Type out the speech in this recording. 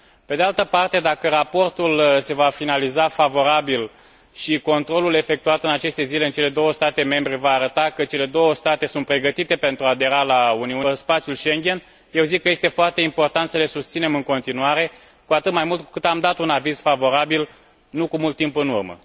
Pe de altă parte, dacă raportul se va finaliza favorabil și controlul efectuat în aceste zile în cele două state membre va arăta că cele două state sunt pregătite pentru a adera la spațiul Schengen, eu zic că este foarte important să le susținem în continuare, cu atât mai mult cu cât am dat un aviz favorabil nu cu mult timp în urmă.